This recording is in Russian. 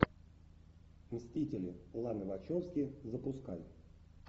мстители ланы вачовски запускай